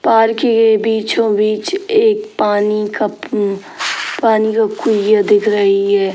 Park के बीचो-बीच एक पानी का उम्म पानी की कुइयां दिख रही है।